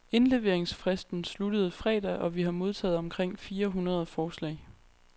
Indleveringsfristen sluttede fredag og vi har modtaget omkring fire hundrede forslag.